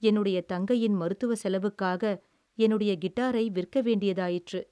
என்னுடைய தங்கையின் மருத்துவச் செலவுக்காக என்னுடைய கிட்டாரை விற்க வேண்டியதாயிற்று.